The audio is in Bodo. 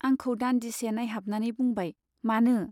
आंखौ दान्दिसे नाइहाबनानै बुंबाय, मानो ?